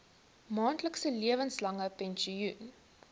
maandelikse lewenslange pensioen